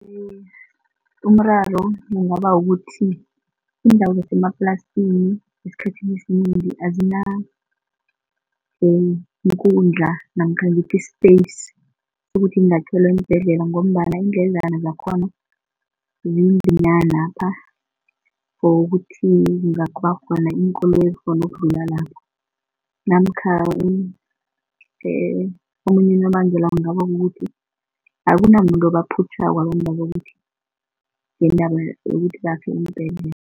Umraro kungaba ukuthi iindawo zemaplasini esikhathini esinengi azinankundla namkha ngithi i-space sokuthi kungakhelwa iimbhedlela ngombana indledlana zakhona zizinyanapha for ukuthi kungaba khona iinkoloyi ezikghona ukudlula lapho. Namkha omunye unobangela kungaba kukuthi akunamuntu obaphutjhako abantwaba ukuthi ngeendaba yokuthi bakhe iimbhedlela.